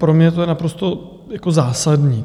Pro mě to je naprosto zásadní.